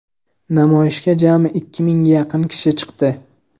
Namoyishga jami ikki mingga yaqin kishi chiqdi.